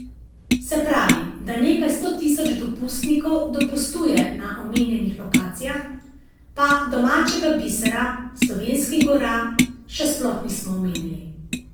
Se pravi, da nekaj sto tisoč dopustnikov dopustuje na omenjenih lokacijah, pa domačega bisera, slovenskih gora, še sploh nismo omenili.